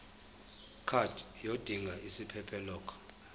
card yodinga isiphephelok